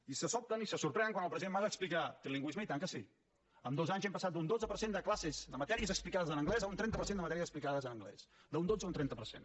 i se sobten i se sorprenen quan el president mas explica trilingüisme i tant que sí en dos anys hem passat d’un dotze per cent de classes amb matèries explicades en anglès a un trenta per cent de matèries explicades en anglès d’un dotze a un trenta per cent